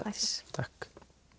takk